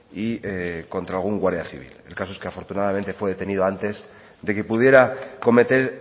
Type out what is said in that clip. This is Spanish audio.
y contra algún guardia civil el caso es que afortunadamente fue detenido antes de que pudiera cometer